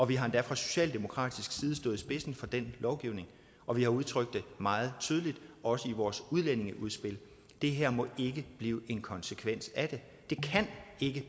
vi har endda fra socialdemokratisk side stået i spidsen for den lovgivning og vi har udtrykt det meget tydeligt også i vores udlændingeudspil det her må ikke blive en konsekvens af det